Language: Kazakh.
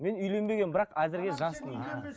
мен үйленбегенмін бірақ әзірге жаспын